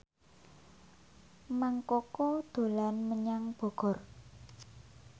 Mang Koko dolan menyang Bogor